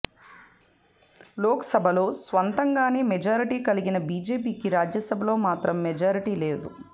లోక్సభలో స్వంతంగానే మెజారిటీ కలిగిన బిజెపికి రాజ్యసభలో మాత్రం మెజారిటీ లేదు